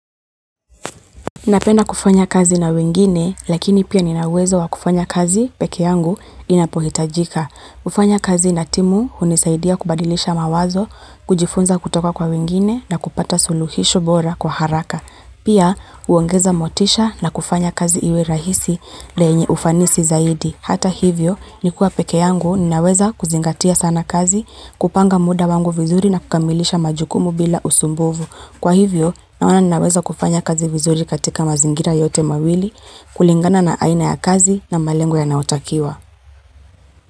Napenda kufanya kazi na wengine, lakini pia nina uwezo wa kufanya kazi pekee yangu inapohitajika. Kufanya kazi na timu, hunisaidia kubadilisha mawazo, kujifunza kutoka kwa wengine, na kupata suluhisho bora kwa haraka. Pia, huongeza motisha na kufanya kazi iwe rahisi na yenye ufanisi zaidi. Hata hivyo nikiwa pekee yangu, ninaweza kuzingatia sana kazi, kupanga muda wangu vizuri na kukamilisha majukumu bila usumbufu. Kwa hivyo, naona ninaweza kufanya kazi vizuri katika mazingira yote mawili, kulingana na aina ya kazi na malengo yanayotakiwa.